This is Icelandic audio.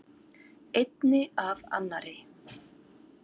Einni af annarri.